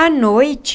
À noite...